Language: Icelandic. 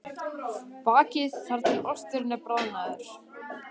Bakið þar til osturinn er bráðnaður.